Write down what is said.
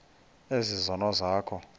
ezi zono zakho